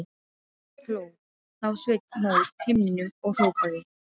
Hló þá Sveinn mót himninum og hrópaði: